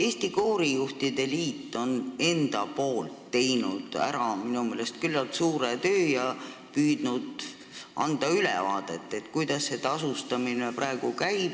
Eesti Koorijuhtide Liit on minu meelest teinud küllalt suure töö ja püüdnud anda ülevaadet, kuidas tasustamine praegu käib.